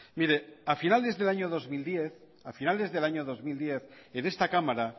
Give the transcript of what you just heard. a finales del año dos mil diez en esta cámara